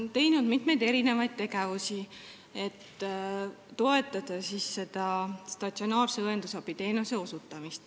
Tartu linnas on mitmeid tegevusi, millega toetatakse statsionaarse õendusabiteenuse osutamist.